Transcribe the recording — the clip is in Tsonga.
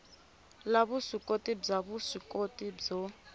la vuswikoti bya vuswikoti byo